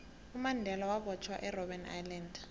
umandela wabotjhwa erbben island